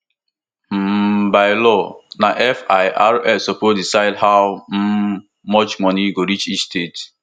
um by law na firs suppose decide how um much money go reach each state